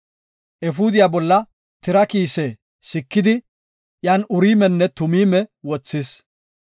Efuudiya bolla tira kiise sikidi iyan Uriimenne Tumiime wothis.